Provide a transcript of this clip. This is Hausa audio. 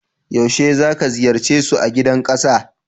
Yaushe zaka ziyarce su a Gidan Kasa?